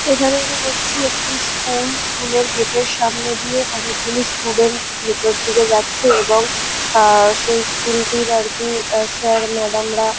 এখানে আমি দেখছি একটি স্কুল । স্কুল এর গেট এর সামনে দিয়ে অনেকগুলি স্টুডেন্ট ভেতরদিকে যাচ্ছে এবং সেই স্কুল টির আর কি স্যার মাদাম রা--